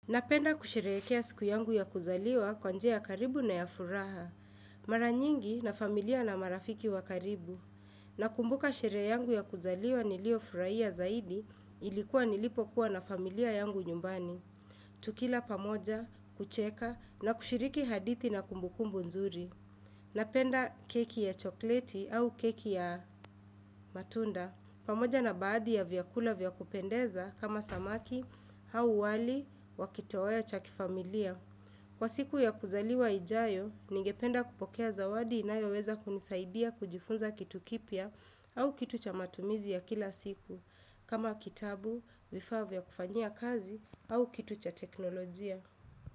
Napenda kushirekea siku yangu ya kuzaliwa kwanje ya karibu na ya furaha. Mara nyingi na familia na marafiki wa karibu. Nakumbuka sherehe yangu ya kuzaliwa nilio furaia zaidi ilikuwa nilipo kuwa na familia yangu nyumbani. Tukila pamoja, kucheka na kushiriki hadithi na kumbukumbu nzuri. Napenda keki ya chokleti au keki ya matunda. Pamoja na baadhi ya vyakula vyakupendeza kama samaki, hau wali, wakitawaya chakifamilia. Kwa siku ya kuzaliwa ijayo, ningependa kupokea zawadi inayo weza kunisaidia kujifunza kitu kipya au kitu cha matumizi ya kila siku. Kama kitabu, vifaa kufanyia kazi au kitu cha teknolojia.